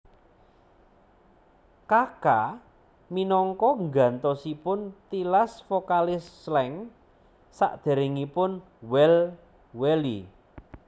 Kaka minangka gantosipun tilas vokalis Slank saderengipun Well Welly